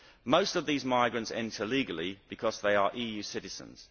Most of these migrants enter legally, because they are EU citizens.